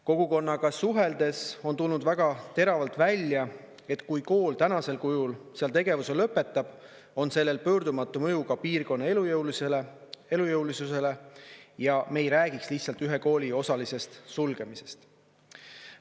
Kogukonnaga suheldes on tulnud väga teravalt välja, et kui kool tänasel kujul seal tegevuse lõpetab, on sellel pöördumatu mõju ka piirkonna elujõulisusele ja me ei räägiks lihtsalt ühe kooli osalisest sulgemisest.